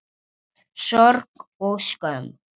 Sorg og skömm.